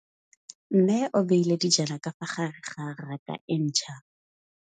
Mmê o beile dijana ka fa gare ga raka e ntšha.